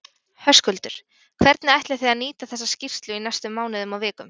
Höskuldur: Hvernig ætlið þið að nýta þessa skýrslu í næstu mánuðum og vikum?